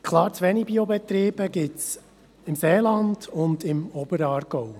Klar zuwenige Biobetriebe gibt es im Seeland und im Oberaargau.